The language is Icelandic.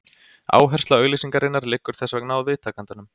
Áhersla auglýsingarinnar liggur þess vegna á viðtakandanum.